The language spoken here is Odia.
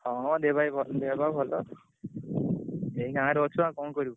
ହଁ ଦେହ ପାହ ବି ~ଭ ଦେହ ପାହ ଭଲ।